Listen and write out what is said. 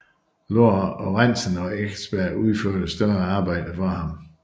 Lorentzen og Eckersberg udførte større arbejder for ham